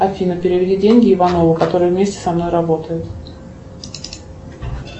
афина переведи деньги иванову который вместе со мной работает